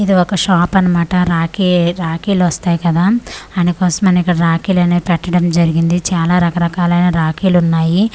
ఇది ఒక షాప్ అన్నమాట రాఖీ-రాఖీ లొస్తాయి కదా అందు కోసమని ఇక్కడ రాఖీ లనేవి పెట్టడం జరిగింది చాలా రకరకాలైనా రాఖీలు ఉన్నాయి.